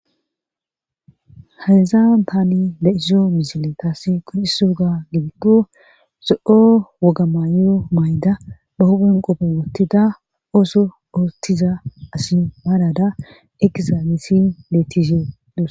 hayezan tani leiso misile taasi konciso oga gibiko zo7o woga maayo mayda ba hubun qope wottida ooso oottiza asi maalada ekizaagesi leetishe dos